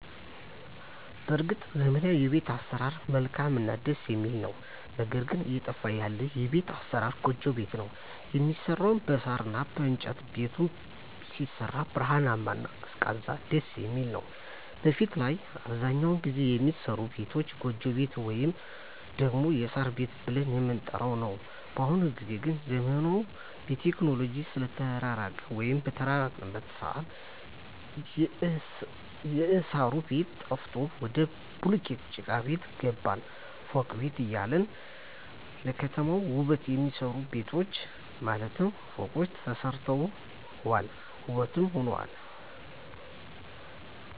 በርግጥ ዘመናዊዉ የቤት አሰራር መልካምእና ደስ የሚል ነዉ ነገር ግን እየጠፋ ያለ የቤት አሰራር ጎጆ ቤት ነዉ የሚሰራዉም በሳር እና በእንጨት ነዉ ቤቱም ሲሰራ ብርሃናማ እና ቀዝቃዛም ደስየሚል ነዉ በፊት ላይ አብዛኛዉን ጊዜ የሚሰሩ ቤቶች ጎጆ ቤት ወይም ደግሞ የሳር ቤት ብለን የምንጠራዉ ነዉ በአሁኑ ጊዜ ግን ዘመኑም በቴክኖሎጂ ስለተራቀቀ ወይም በተራቀቀበት ሰአት የእሳሩ ቤት ጠፍቶ ወደ ቡሉኬት ጭቃቤት ገባን ፎቅ ቤት እያለ ለከተማዋ ዉበት የሚሆኑ ቤቶች ማለትም ፎቆች ተሰርተዋል ዉበትም ሆነዋል